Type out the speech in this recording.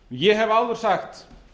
ég hef áður sagt